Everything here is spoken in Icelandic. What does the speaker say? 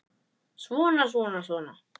Svona, svona, svona.